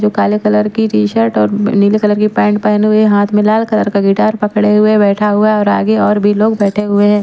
जो काले कलर की टी-शर्ट और नीले कलर की पैंट पहने हुए हाथ में लाल कलर का गिटार पकड़े हुए बैठा हुआ है और आगे और भी लोग बैठे हुए हैं।